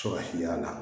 Sɔrɔ hila